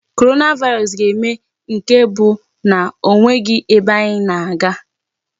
Coronavirus ga-eme nke bụ na ọ nweghi ebe anyị na-aga.